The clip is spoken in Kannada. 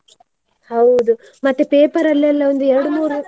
ಹೌದು, ಮತ್ತೆ paper ಅಲ್ಲೆಲ್ಲ ಒಂದು ಎರಡ್ಮೂರು .